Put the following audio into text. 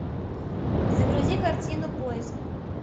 загрузи картину поиск